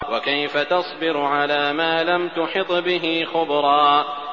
وَكَيْفَ تَصْبِرُ عَلَىٰ مَا لَمْ تُحِطْ بِهِ خُبْرًا